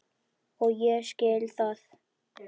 Og ég skil það.